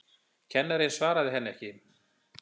Kennarinn svaraði henni ekki.